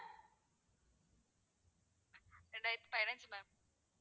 ரெண்டாயிரத்தி பதினஞ்சு ma'am